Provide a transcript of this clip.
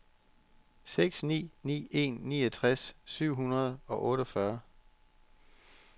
seks ni ni en niogtres syv hundrede og otteogfyrre